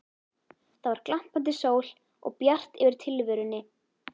Það var glampandi sól og bjart yfir tilverunni.